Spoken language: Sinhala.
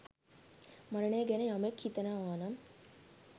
මරණය ගැන යමෙක් හිතනවා නම්